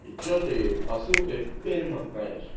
и что ты посылкой в пермь отправишь